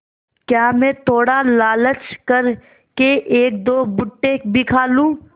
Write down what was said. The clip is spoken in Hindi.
क्या मैं थोड़ा लालच कर के एकदो भुट्टे भी खा लूँ